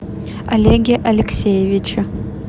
олеге алексеевиче